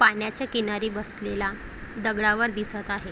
पाण्याच्या किनारी बसलेला दगडावर दिसत आहे.